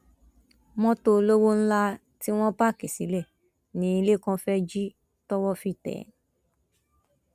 mọtò olówó ńlá tí wọn páàkì sílẹ ní lẹkán fẹẹ jí towó fi tẹ ẹ